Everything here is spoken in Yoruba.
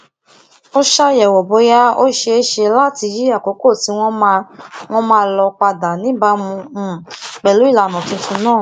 ó ṣàyẹwò bóyá ó ṣeé ṣe láti yí àkókò tí wọn máa wọn máa lò padà níbàámu um pẹlú ìlànà tuntun náà